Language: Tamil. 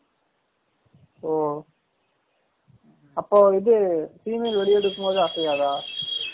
ஒ அப்ப இது female வேலிய எடுக்கும் போது அசையாதா?